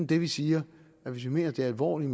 det vi siger hvis vi mener alvorligt